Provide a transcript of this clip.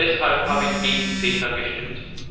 Deshalb habe ich gegen CETA gestimmt.